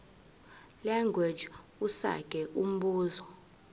language usage umbuzo